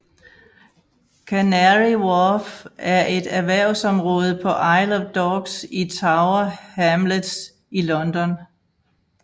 Canary Wharf er et erhvervsområde på Isle of Dogs i Tower Hamlets i London